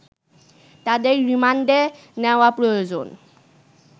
তাদের রিমান্ডে নেওয়া প্রয়োজন